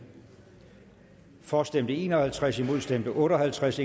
for stemte en og halvtreds imod stemte otte og halvtreds